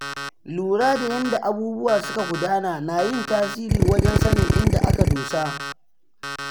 Lura da yanda abubuwa suka gudana na yin tasiri wajen sanin inda aka dosa.